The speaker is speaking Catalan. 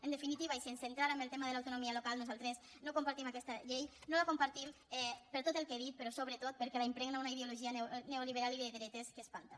en definitiva i sense entrar en el tema de l’autonomia local nosaltres no compartim aquesta llei no la com·partim per tot el que he dit però sobretot perquè la impregna una ideologia neoliberal i de dretes que es·panta